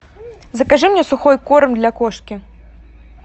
закажи мне сухой корм для кошки